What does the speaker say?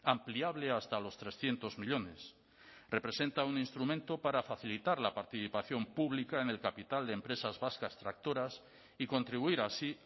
ampliable hasta los trescientos millónes representa un instrumento para facilitar la participación pública en el capital de empresas vascas tractoras y contribuir así